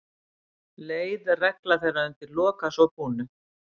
Leið regla þeirra undir lok að svo búnu.